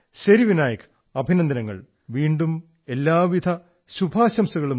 well Vinayak congratulations again and wish you all the best